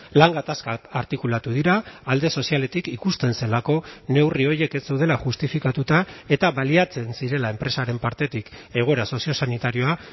lan gatazkak artikulatu dira alde sozialetik ikusten zelako neurri horiek ez zeudela justifikatuta eta baliatzen zirela enpresaren partetik egoera soziosanitarioa